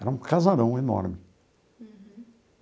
Era um casarão enorme. Uhum.